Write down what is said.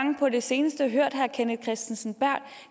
på det seneste hørt herre kenneth kristensen berth